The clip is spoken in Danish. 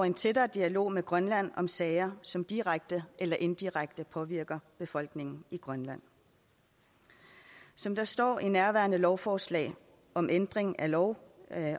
en tættere dialog med grønland om sager som direkte eller indirekte påvirker befolkningen i grønland som der står i nærværende lovforslag om ændring af lov